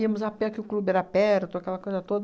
Íamos a pé, que o clube era perto, aquela coisa toda.